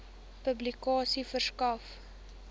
publikasie verskaf